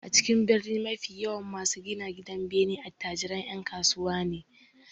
A cikin birni mafi yawan masu gina gidanbene attajiran 'yan kasuwa ne